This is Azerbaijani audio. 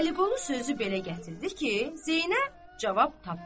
Vəliqulu sözü belə gətirdi ki, Zeynəb cavab tapmadı.